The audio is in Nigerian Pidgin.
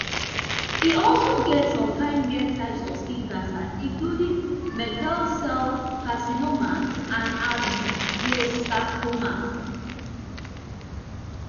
e also get some kind rare types of skin cancer including merkel cell carcinoma and angiosarcoma